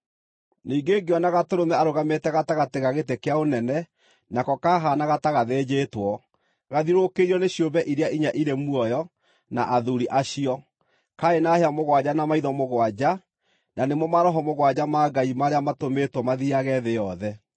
Ningĩ ngĩona Gatũrũme arũgamĩte gatagatĩ ga gĩtĩ kĩa ũnene, nako kahaanaga ta gathĩnjĩtwo, gathiũrũrũkĩirio nĩ ciũmbe iria inya irĩ muoyo, na athuuri acio. Kaarĩ na hĩa mũgwanja na maitho mũgwanja, na nĩmo maroho mũgwanja ma Ngai marĩa matũmĩtwo mathiiage thĩ yothe.